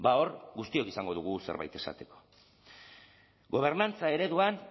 hor guztiok izango dugu zerbait esateko gobernantza ereduetan